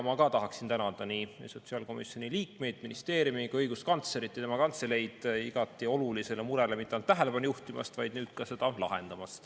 Ma ka tahan tänada nii sotsiaalkomisjoni liikmeid, ministeeriumi kui ka õiguskantslerit ja tema kantseleid igati suurele murele mitte ainult tähelepanu juhtimast, vaid nüüd ka seda lahendamast.